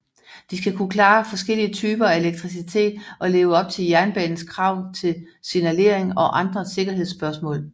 De skal kunne klare forskellige typer af elektricitet og leve op til jernbanens krav til signalering og andre sikkerhedsspørgsmål